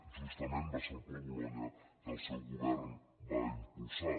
justament va ser el pla bolonya que el seu govern va impulsar